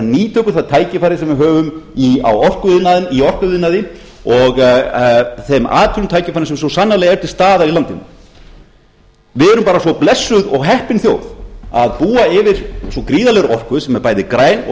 nýta okkur það tækifæri sem við höfum í orkuiðnaði og þeim atvinnutækifærum sem svo sannarlega eru til staðar í landinu við erum bara svo blessuð og heppin þjóð að búa yfir svo gríðarlegri orku sem er bæði græn og